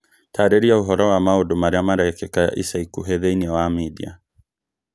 Taarĩria ũhoro wa maũndũ marĩa marekĩka ica ikuhĩ thĩinĩ wa media